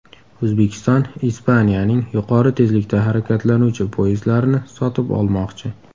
O‘zbekiston Ispaniyaning yuqori tezlikda harakatlanuvchi poyezdlarini sotib olmoqchi.